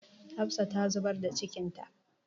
Hafsa ta zubar da cikinta.